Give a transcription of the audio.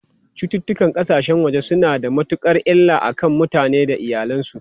Cututtukan kasashen waje suna da matukar illa a kan mutane da iyalansu.